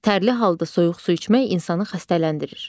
Tərli halda soyuq su içmək insanı xəstələndirir.